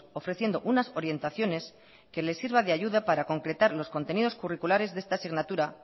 ofreciendo unas orientaciones que le sirva de ayuda para concretar los contenidos curriculares de esta asignatura